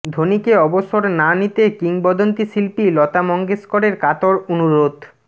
ধোনিকে অবসর না নিতে কিংবদন্তি শিল্পী লতা মঙ্গেশকরের কাতর অনুরোধ